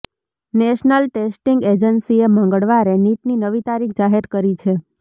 national testing એજન્સીએ મંગળવારે નીટની નવી તારીખ જાહેર કરી છે